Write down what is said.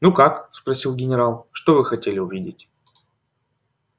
ну как спросил генерал что вы хотели увидеть